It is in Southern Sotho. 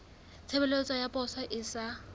tshebeletso ya poso e sa